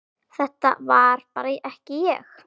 Þetta var bara ekki ég.